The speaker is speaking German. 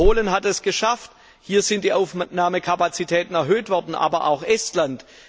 Polen hat es geschafft hier sind die Aufnahmekapazitäten erhöht worden aber auch Estland.